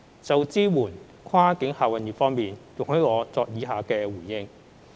就支援跨境客運業方面，容許我作出以下回應。